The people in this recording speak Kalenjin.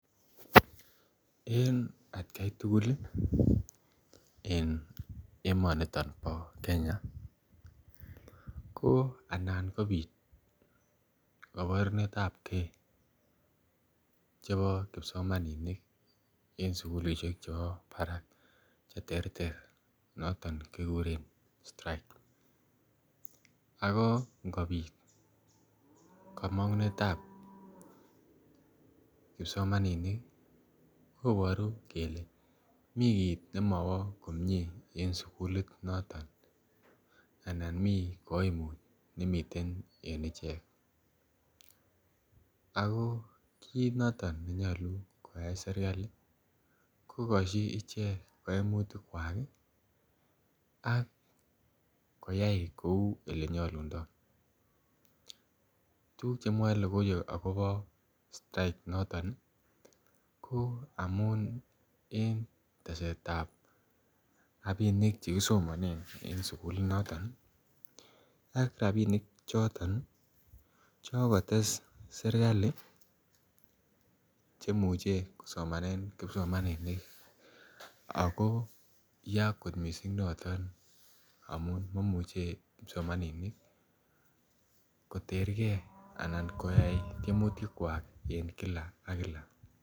En atkai tugul en emoninyon bo Kenya , anapkobit kabarunetabke en sugulisiek kab barak noton kikuren strike .ago ngobit kamang'unets. Kipsomaninik kobaru kele mi kit nemawo komie en en sugulit noton anan mi kaimut nemiten en icheket. Ako kit noton nenyalu koyai serkali ih kogasyi icheket kaimutik kwak ih akoyai kouu elennyalundo, tukuk chemwao logoiwek akobo strike noton ih ko amuun en yesetab rabinik cheikisomanen en sugulit oron ih , ak rabinik choton chelates serkali cheimuche kosomanen kipsomaninik Ako ya kot missing noton maimuche kipsomaninik koterge anan koyai tiemutikwak Kila ak Kila.